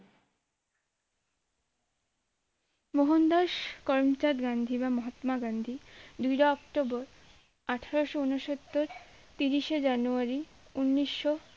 মোহনদাস করমচাঁদ গান্ধী বা মহাত্মা গান্ধী দুইরা অক্টোবর আঠারোশো ঊনসত্তর তিরিশে জানুয়ারি ঊনিশো